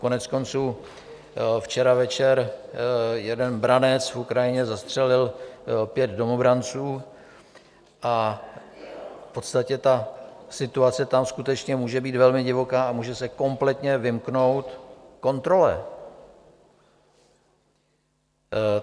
Koneckonců včera večer jeden branec v Ukrajině zastřelil pět domobranců, v podstatě ta situace tam skutečně může být velmi divoká a může se kompletně vymknout kontrole.